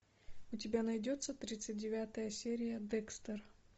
у тебя найдется тридцать девятая серия декстер